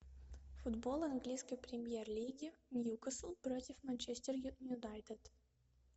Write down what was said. футбол английской премьер лиги ньюкасл против манчестер юнайтед